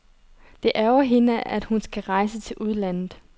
Det ærgrer hende, at hun skal rejse til udlandet.